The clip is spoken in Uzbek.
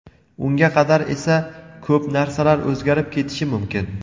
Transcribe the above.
Unga qadar esa ko‘p narsalar o‘zgarib ketishi mumkin.